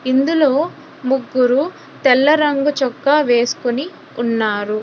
ఇందులో ముగ్గురు తెల్ల రంగు చొక్కా వేస్కొని ఉన్నారు.